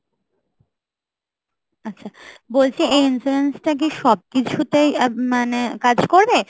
আচ্ছা, বলছি এই insurance টা কি সবকিছুতেই আহ মানে কাজ করবে?